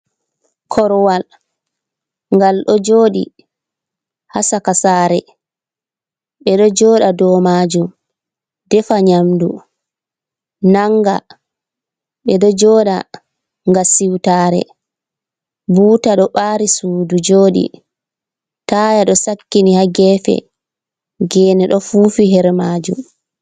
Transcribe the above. Korwal, ngal ɗo jooɗi ha sakasaare ɓe do jooda dou maajuum defa nyamdu nanga, ɓe ɗo jooda ngam l siwtaare, buuta ɗo ɓaari suudu jooɗi, taaya ɗo sakkini ha geefe, geene ɗo fuufi her maajuum.